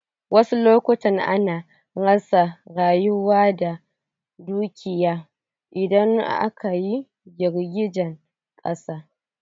Wasu lokutan ana rasa rayuka da dukiyoyi idan akayi girgijen ƙasa.